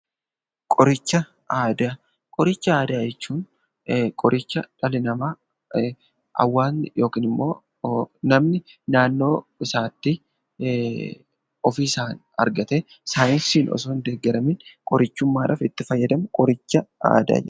Qoricha aadaa, qoricha aadaa jechuun qoricha dhalli nama, hawaasni yookiin immoo namni naannoo isaatti ofiisan argate saayinsiin osoo hin deeggaramin qorichummadhaf itti fayyadamu qoricha aadaa jenna.